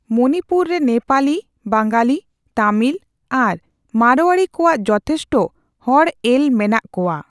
ᱢᱚᱱᱤᱯᱩᱨ ᱨᱮ ᱱᱮᱯᱟᱞᱤ, ᱵᱟᱣᱜᱟᱞᱤ, ᱛᱟᱢᱤᱞ ᱟᱨ ᱢᱟᱲᱳᱭᱟᱨᱤ ᱠᱚᱣᱟᱜ ᱡᱚᱛᱷᱮᱥᱴ ᱦᱚᱲ ᱮᱞ ᱢᱮᱱᱟᱜ ᱠᱚᱣᱟ ᱾